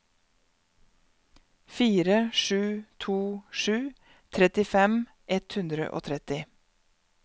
fire sju to sju trettifem ett hundre og tretti